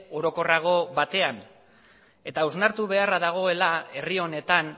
orokorrago batean eta hausnartu beharra dagoela herri honetan